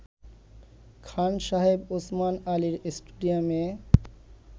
খান সাহেব ওসমান আলী স্টেডিয়ামে